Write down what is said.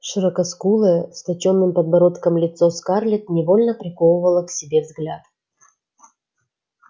широкоскулое с точёным подбородком лицо скарлетт невольно приковывало к себе взгляд